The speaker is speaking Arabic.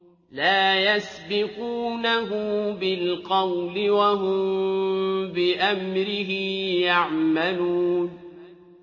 لَا يَسْبِقُونَهُ بِالْقَوْلِ وَهُم بِأَمْرِهِ يَعْمَلُونَ